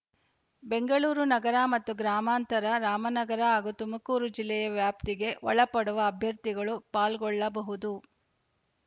ಬೆಂಗಳೂರು ನಗರ ಮತ್ತು ಗ್ರಾಮಾಂತರ ರಾಮನಗರ ಹಾಗೂ ತುಮಕೂರು ಜಿಲ್ಲೆಯ ವ್ಯಾಪ್ತಿಗೆ ಒಳಪಡುವ ಅಭ್ಯರ್ಥಿಗಳು ಪಾಲ್ಗೊಳ್ಳಬಹುದು